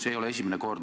See ei ole esimene kord.